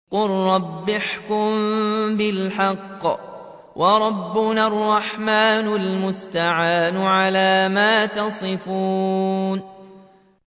قَالَ رَبِّ احْكُم بِالْحَقِّ ۗ وَرَبُّنَا الرَّحْمَٰنُ الْمُسْتَعَانُ عَلَىٰ مَا تَصِفُونَ